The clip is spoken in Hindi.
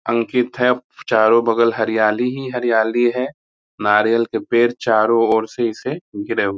अंकित है चारों बगल हरियाली ही हरियाली है नारियल के पेड़ चारों ओर से इसे घिरे --